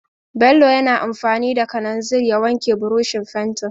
Bello yana amfani da kalanzir ya wanke burushin fenti.